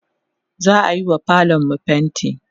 za'ayiwa falonmu fainti